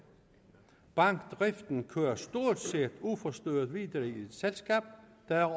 bankdriften kører stort set uforstyrret videre i et selskab der er